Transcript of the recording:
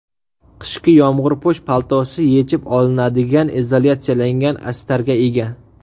Qishki yomg‘irpo‘sh paltosi yechib olinadigan izolyatsiyalangan astarga ega.